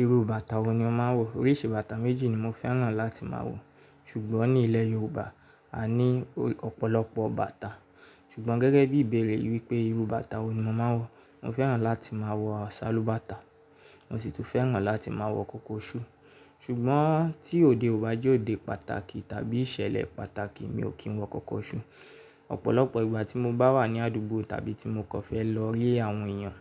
Irú bàtà wo ni ó máa ń wọ̀? Oríṣi bàtà méjì ni mo fẹ́ràn láti máa wọ̀, ṣùgbọ́n ní ilẹ̀ Yorùbá a ní ọ̀pọ̀lọpọ̀ bàtà. Ṣùgbọ́n gẹ́gẹ́ bí ìbéèrè wípé irú bàtà wo ni mo máa ń wọ̀, mo fẹ́ràn láti máa wọ sálúbàtà, mo sì tún fẹ́ràn láti máa wọ kòkóṣù. Ṣùgbọ́n tí òde ò bá jẹ́ òde pàtàkì tàbí ìṣẹ̀lẹ̀ pàtàkì mi ò kí ń wọ kòkóṣù. Ọ̀pọ̀lọpọ̀ ìgbà tí mo bá wà ní àdúgbò tàbí tí mo kàn fẹ́ lọ rí àwọn èèyàn,